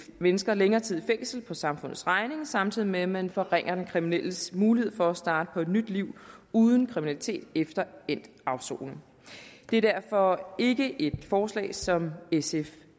mennesker længere tid i fængsel på samfundets regning samtidig med at man forringer den kriminelles mulighed for at starte på et nyt liv uden kriminalitet efter endt afsoning det er derfor ikke et forslag som sf